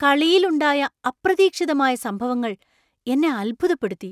കളിയിൽ ഉണ്ടായ അപ്രതീക്ഷിതമായ സംഭവങ്ങൾ എന്നെ അത്ഭുതപ്പെടുത്തി.